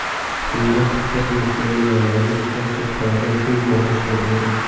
Unda bir nechta binolarni tosh sirtlaridan o‘yib yasashgan edi.